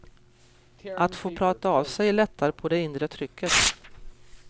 Att få prata av sig lättar på det inre trycket.